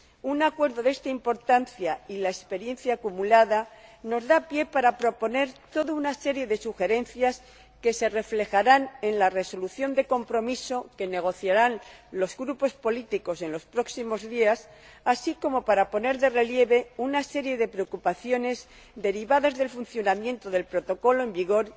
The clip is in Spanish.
Un acuerdo de esta importancia y la experiencia acumulada nos dan pie para proponer toda una serie de sugerencias que se reflejarán en la resolución común que negociarán los grupos políticos en los próximos días, así como para poner de relieve una serie de preocupaciones derivadas del funcionamiento del Protocolo en vigor.